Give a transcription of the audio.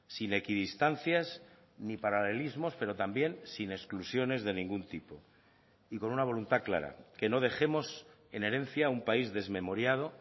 sin equidistancias ni paralelismos pero también sin exclusiones de ningún tipo y con una voluntad clara que no dejemos en herencia un país desmemoriado